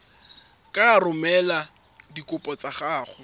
ka romela dikopo tsa gago